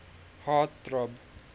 heart throb